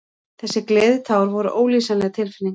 Þessi gleðitár voru ólýsanleg tilfinning.